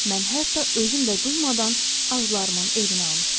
Mən hətta özüm də duymadan arzularımın evini almışdım.